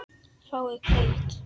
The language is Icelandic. Fái hvíld?